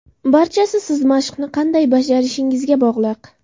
Barchasi siz mashqni qanday bajarishingizga bog‘liq.